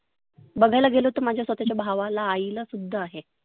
बघायला गेलं तर माझ्या स्वतःच्या भावाला आईला सुद्धा आहे.